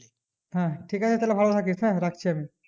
ঠিক আছে তাহলে ভালোথাকিস হ্যাঁ রাখছি আমি